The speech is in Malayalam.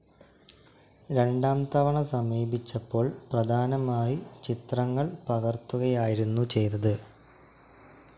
രണ്ടാം തവണ സമീപിച്ചപ്പോൾ പ്രധാനമായി ചിത്രങ്ങൾ പകർത്തുകയായിരുന്നു ചെയ്തത്.